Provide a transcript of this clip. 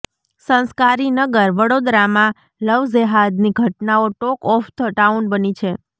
સંસ્કારી નગર વડોદરામાં લવજેહાદની ઘટનાઓ ટોક ઓફ ધ ટાઉન બની છે